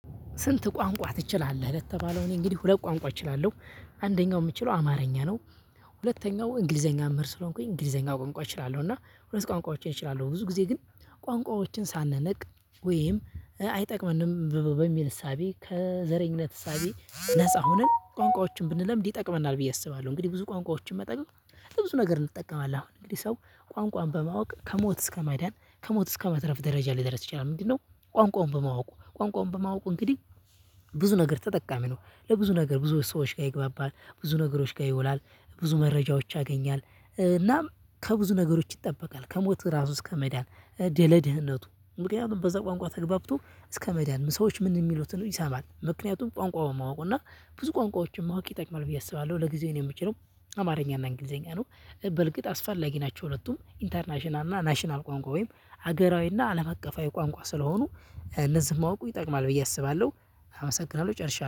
ስንት ቋንቋ ትችላለህ? የተባለው እኔ እንግዲህ ሁለት ቋንቋ እችላለሁ አንደኛው የምችለው አማርኛ ነው። ሁለተኛው እንግሊዘኛ መምህር ስለሆንኩኝ፤ እንግሊዘኛ ቋንቋ እችላለሁ፤ እና ሁለት ቋንቋዎችን እችላለሁ ብዙ ጊዜ ግን ቋንቋዎችን ሳንነቅ ወይም አይጠቅመንም በሚል እሳቤ ከዘረኝነት እሳቤ ነፃ ሁነን ቋንቋዎችን ብንለምድ ይጠቅመናል ብዬ አስባለሁ። እንግዲህ ብዙ ቋንቋዎችን መጠየቅ ለብዙ ነገር እንጠቀማለን። እንግዲህ ሰው ቋንቋን በማወቅ ከሞት እስከ መዳን፣ ከሞት እስከ መትረፍ ደረጃ ሊደረስ ይችላል። ምንድነው ቋንቋውን በማወቁ ቋንቋውን በማወቁ እንግዲህ ብዙ ነገር ተጠቃሚ ነው። ለብዙ ነገር ብዙ ሰዎች ጋር ይግባባል፤ ብዙ ነገሮች ጋር ይውላል፤ ብዙ መረጃዎች ያገኛል እናም ከብዙ ነገሮች ይጠበቃል። ከሞት ራሱ እስከ መዳን፤ ድ ለ ድህነቱ ምክንያቱም በዛ ቋንቋ ተገባብቶ እስከ መዳን ሰዎች ምን የሚሉትን ይሰማል ምክንያቱም ቋንቋውን ማወቁና ብዙ ቋንቋዎችን ማወቅ ይጠቅማል ብዬ አስባለሁ። ለጊዜው የምችለው አማርኛና እንግሊዘኛ ነው። በርግጥ አስፋላጊ ናቸው ሁለቱም ኢንተርናሽናል እና ናሽናል ቋንቋ ወይም ሀገራዊ እና አለም አቀፋዊ ቋንቋ ስለሆኑ፤ እነዚህን ማወቁ ይጠቅማል ብዬ አስባለሁ። አመሰግናለሁ! ጨርሻለሁ።